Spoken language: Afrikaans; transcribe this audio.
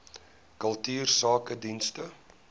kultuursakedienste